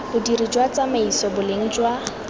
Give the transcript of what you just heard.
bodiri jwa tsamaiso boleng jwa